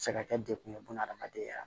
Se ka kɛ dekun ye bunahadamadenya